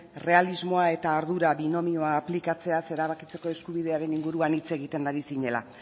errealismoa eta ardura binomioa aplikatzeaz erabakitzeko eskubidearen inguruan hitz egiten ari zinela